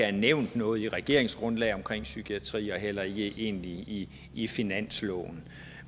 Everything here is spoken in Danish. er nævnt noget i regeringsgrundlaget om psykiatrien og egentlig heller ikke i i finansloven